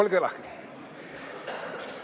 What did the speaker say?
Olge lahked!